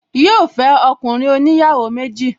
Yíò fẹ́ ọkùnrin oníyàwó méjì